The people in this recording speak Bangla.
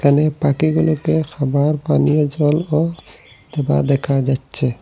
এখানে পাখিগুলোকে খাবার পানীয় জলও দেওয়া দেখা যাচ্ছে।